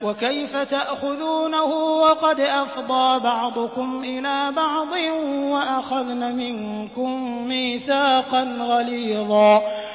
وَكَيْفَ تَأْخُذُونَهُ وَقَدْ أَفْضَىٰ بَعْضُكُمْ إِلَىٰ بَعْضٍ وَأَخَذْنَ مِنكُم مِّيثَاقًا غَلِيظًا